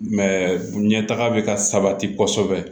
ɲɛtaga bɛ ka sabati kɔsɔbɛ